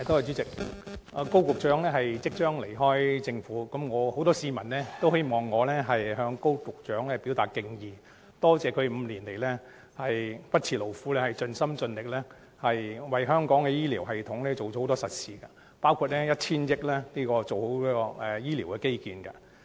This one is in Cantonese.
主席，高局長即將離開政府，很多市民都希望我向高局長表達敬意，感謝他5年來不辭勞苦，盡心盡力為香港的醫療系統做了很多實事，包括以 1,000 億元進行醫療基建。